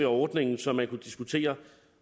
ordningen som man kunne diskutere